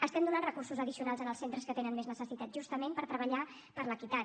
estem donant recursos addicionals als centres que tenen més necessitat justament per treballar per l’equitat